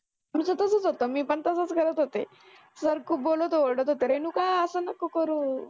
आमचं तसच होतं मी पण तसच करत होते. sir खुप बोलत ओरडत रेणुका अस नको करु